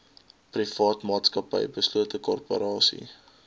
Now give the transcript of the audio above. privaatmaatsappy beslote korporasie